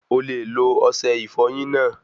O le lo ọsẹ ìfọyín náà